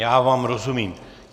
Já vám rozumím.